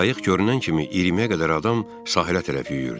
Qayıq görünən kimi iyirmiyə qədər adam sahilə tərəf yüyürdü.